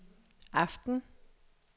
aften